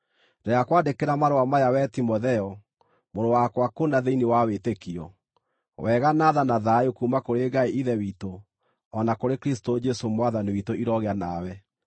Ndĩrakwandĩkĩra marũa maya wee Timotheo, mũrũ wakwa kũna thĩinĩ wa wĩtĩkio: Wega, na tha, na thayũ kuuma kũrĩ Ngai Ithe witũ o na kũrĩ Kristũ Jesũ Mwathani witũ irogĩa nawe.